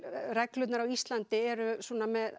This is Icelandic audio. reglurnar á Íslandi eru með